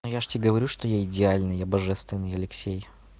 ну я же тебе говорю что я идеальный я божественный алексей